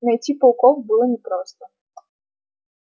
найти пауков было непросто